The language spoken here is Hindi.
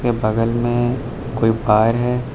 बगल में कोई वायर है।